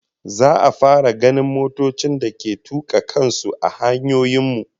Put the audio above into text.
Za'a fara ganin motocin da ke tuka kan su a hanyoyin mu